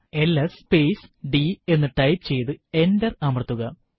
LS space d എന്ന് type ചെയ്തു enter അമർത്തുക